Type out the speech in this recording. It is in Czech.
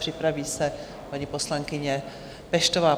Připraví se paní poslankyně Peštová.